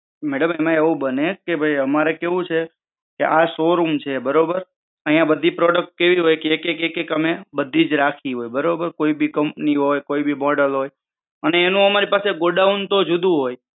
madam એમાં બને કે અમારે showroom છે બરાબર અહીંયા બધી product કેવી હોય કે એક એક અમે બધી જ રાખી હોય કોઈ પણ company હોય કોઈ પણ model હોય ને એનું અમારી પાસે ગોડાઉનતો જુદું હોય